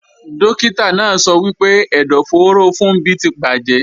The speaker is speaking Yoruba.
Dókítà náà sọ wípé ẹ̀dọ̀fóró Funbí ti bàjẹ́